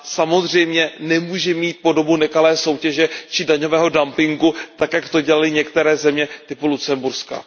Samozřejmě nemůže mít podobu nekalé soutěže či daňového dumpingu, tak jak to dělaly některé země typu Lucemburska.